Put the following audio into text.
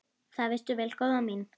Það veistu vel, góða mín.